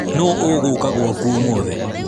Nũ ũgũka gwaku ũmũthĩ?